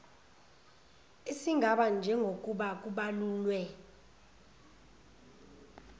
esingaba njengokuba kubalulwe